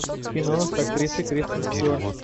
кино с актрисой кристен стюарт